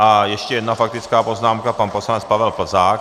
A ještě jedna faktická poznámka, pan poslanec Pavel Plzák.